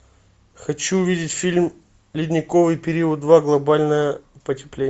хочу увидеть фильм ледниковый период два глобальное потепление